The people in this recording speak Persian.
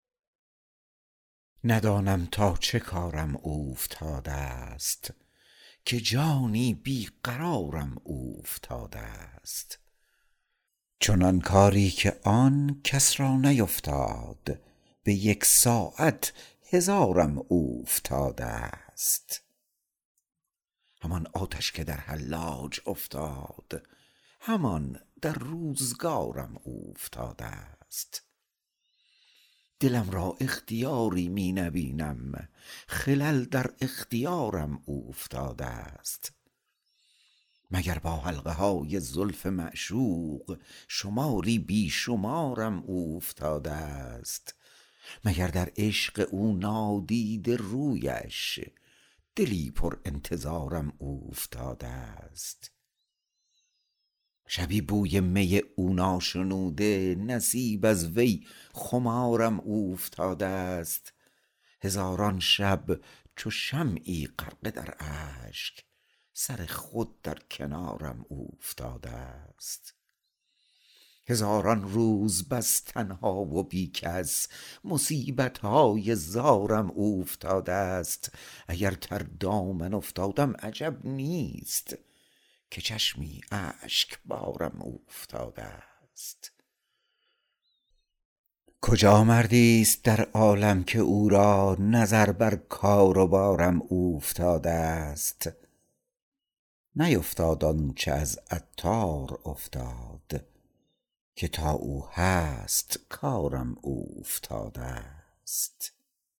ندانم تا چه کارم اوفتادست که جانی بی قرارم اوفتادست چنان کاری که آن کس را نیفتاد به یک ساعت هزارم اوفتادست همان آتش که در حلاج افتاد همان در روزگارم اوفتادست دلم را اختیاری می نبینم خلل در اختیارم اوفتادست مگر با حلقه های زلف معشوق شماری بی شمارم اوفتادست مگر در عشق او نادیده رویش دلی پر انتظارم اوفتادست شبی بوی می او ناشنوده نصیب از وی خمارم اوفتادست هزاران شب چو شمعی غرقه در اشک سر خود در کنارم اوفتادست هزاران روز بس تنها و بی کس مصیبت های زارم اوفتادست اگر تر دامن افتادم عجب نیست که چشمی اشکبارم اوفتادست کجا مردی است در عالم که او را نظر بر کار و بارم اوفتادست نیفتاد آنچه از عطار افتاد که تا او هست کارم اوفتادست